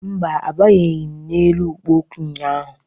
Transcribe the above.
Mba, abanyeghị m n'elu ikpo okwu ụnyaahụ